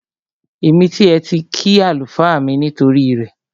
Èmi tiẹ̀ ti kí àlùfáà mi nítorí rẹ